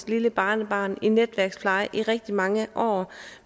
lille barnebarn i netværkspleje i rigtig mange år